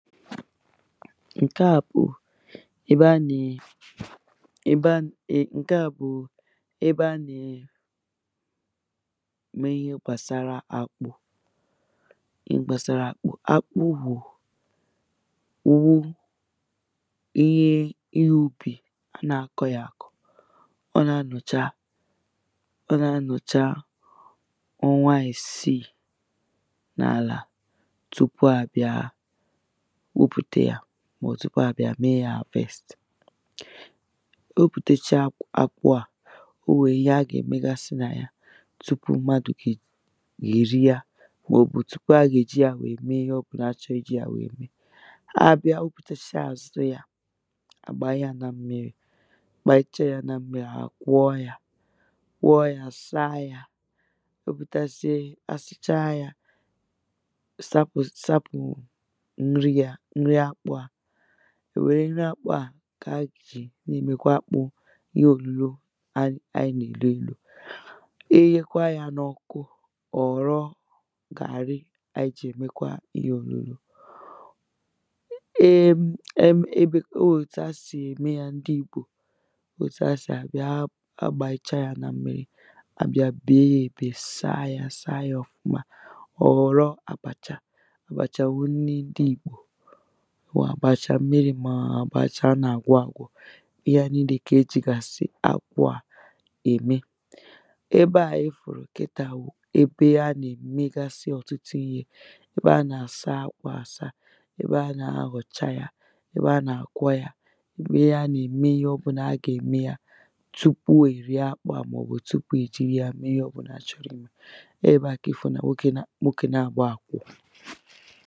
ṅ̀ke à bụ̀ ébé á nà-è ebe an e ṅ̀ke à bụ̣ụ̣ ebe a nà è me ihe gbàsàrà ákpụ́ ihe gbàsàrà akpụ akpụ wụ̀ ùwoṅ ihe ighūpè a nà-akọ ya àkọ̀ ọ nà-anọ̀cha ọ nà-anọ̀cha ọnwa isiì n’àlà tupu à bịa gwupùte yā màò̩ tupu à bịa mee yā harvest e wepùtechaa akwụ à o wee ihe a gà-èmegasị nà ya tupu mmadụ̀ ge èri yā kwòbù tupu a gà-èji yā wèe mee ihe ọbụlà a chọ̀ọ̀ ijī yā wèe mee a bịa wepùtechaa azụ ya à bàa yā na mmirī a bàyịchaa yā na mmirī à kwọọ yā kwọọ yā saa yā o butazie kpàsịchaa yà sapụ̀ sapụ̀ mmiri yā mmiri akpụ à wèré ákpụ́ à kè a gà-èji na-èmèkwa ihe ōlūlō ayị ayị nà-èloēlō i ghekwaa yā n’ọkụ ọ ghọ̀rọ̀ gàrị́ áyị́ jì èmékwá íhé ólúló eem em ebo ọ òtu ha sì eme yā ndị Igbo otu ha si abịa abàyịcha hā na mmirī à bịa bee ya èbè saa ya saa ọ̀fụma ọ ghọrọ àbàchà àbàchà wụ̀ nni ndị Ìgbò wụ àbàchà mmirī mọọ̀ àbàchà a nà-àgwọ āgwọ̄ ihe à ninē kà e jìgàsị̀ àgwọ ā ème ebe a ị fụ̀rụ̀ kịtà wụ̀ ebe a nà-èmegasị ọ̀tụtụ ihē ebe a nà-àsa akpụ àsa ebe a nà-ahọcha yā ebe a nà-àkwọ yā ụmụ ya nà-eme ihe ọbụ̄nà a gà-eme ya tupu è rie akpụ a màọbụ tupu è jiri ya mee ihe ọ bụ̄là a chọrọ imē eē ebe à kà ị fụ̀ nà nwokē nwokē naàbọ̀ à kwụ̀